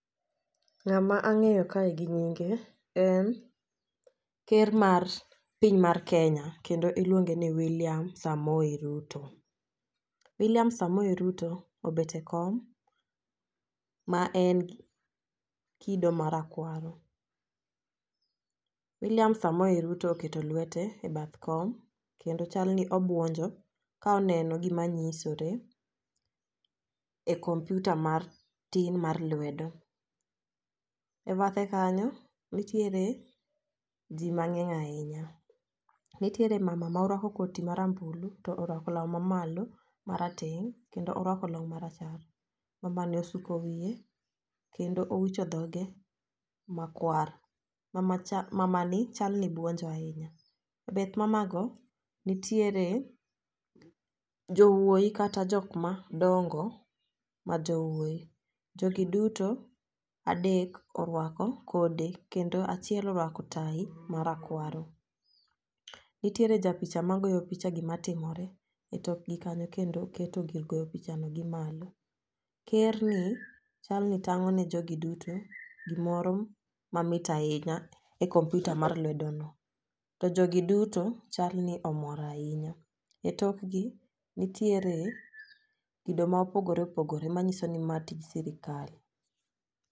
Ng'ama ang'eyo kae gi nyinge en ker mar piny mar kenya kendo iluonge ni Wiliam Samoei Ruto Wiliam samoi Ruto obet e kom ma en kido marakwaro. Wiliam Samoei Ruto oketo lwete e bath kom kendo chal ni obuonjo ka oneno gima nyisore e komputa mar tin mar lwedo. E bathe kanyo nitiere jii mang'eny ahinya, nitiere mama morwako koti marambulu torwako law mamalo marateng' kendo orwako long marachar mamani osuko wiye keno wicho dhoge makwar. Mamacha mamani chal ni buonjo ahinya. E bath mamago nitiere jowuoyi kata jok madongo ma jowuoyi, jogi duto adek orwako kode kendo achiel orwako tai marakwaro. Nitiere ja picha magoyo picha gima timore e tokgi kanyo kendo keto gir goyo picha no gi mako ker ni chal ni tang'o ne jogi duto gimoro ma mit ahinya komputa mar lwedo no. To jogi duto chal ni omor ahinya etokgi nitiere kido ma opogore opogore manyiso ni ma tij sirikal.